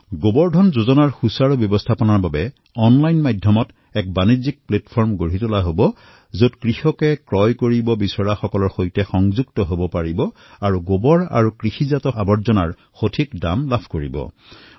গোবৰ ধন যোজনাৰ সুব্যৱস্থাৰ বাবে অনলাইন ট্ৰেডিং প্লেটফৰ্মো নিৰ্মাণ কৰা হব যি কৃষকসকলক ক্ৰেতাৰ সৈতে সংযোগ কৰোৱা হব যাতে কৃষকসকলে গোবৰ আৰু খেতিৰ অৱশিষ্টসমূহৰ উচিত দাম প্ৰাপ্ত কৰিব পাৰে